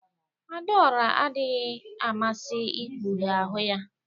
Adaora adịghị amasị ikpughe ahụ ya